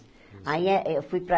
Aí eh eu fui para...